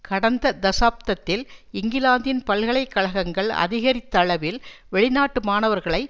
கடந்த தசாப்தத்தில் இங்கிலாந்தின் பல்கலை கழகங்கள் அதிகரித்தளவில் வெளிநாட்டு மாணவர்களை